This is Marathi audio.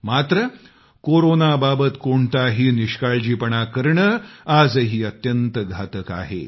मात्र कोरोनाबाबत कोणताही निष्काळजीपणा करणं आजही अत्यंत घातक आहे